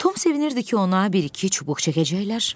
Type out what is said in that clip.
Tom sevinirdi ki, ona bir-iki çubuq çəkəcəklər.